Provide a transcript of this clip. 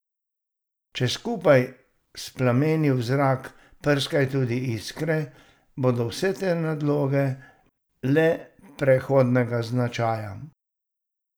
Če skupaj s plameni v zrak prskajo tudi iskre, bodo vse te nadloge le prehodnega značaja.